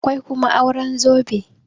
akwai kuma auren zobe